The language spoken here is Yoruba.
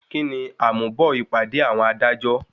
Kíni àmúbọ̀ ìpàdé àwọn adájọ́?